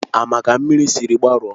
Ama ka mmiri sịrị gbarụo